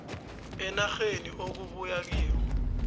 enarheni okubuya kiyo